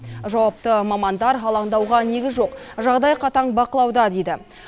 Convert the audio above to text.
жауапты мамандар алаңдауға негіз жоқ жағдай қатаң бақылауда дейді